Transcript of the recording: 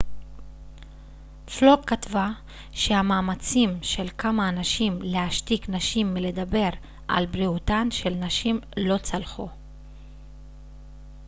פלוק כתבה שהמאמצים של כמה אנשים להשתיק נשים מלדבר על בריאותן של נשים לא צלחו